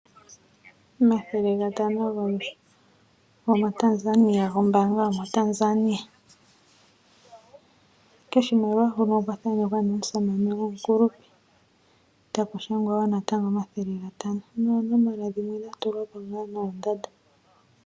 Omathele gatano go mbaanga yo mo Tanzania, koshimaliwa hono okwa thanekwa ne omusamane gwomukulupe, ta ku shangwa wo omathele ga tano, noonomola dhimwe dhatulwa mumwe noondanda.